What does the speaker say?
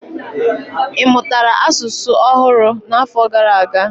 Ị mụtara asụsụ ọhụrụ n'afọ gara aga?